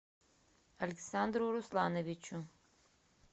александру руслановичу